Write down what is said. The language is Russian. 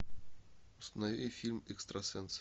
установи фильм экстрасенс